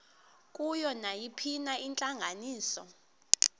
kuyo nayiphina intlanganiso